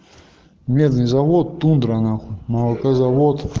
медный завод тундра нахуй молокозавод